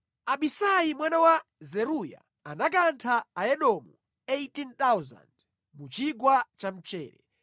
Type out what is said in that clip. Abisai mwana wa Zeruya anakantha Aedomu 18,000 mu Chigwa cha Mchere.